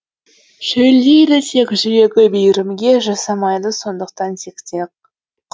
шөлдейді тек жүрегі мейірімге жасамайды сондықтан тентек